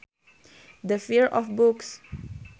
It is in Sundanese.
The fear of books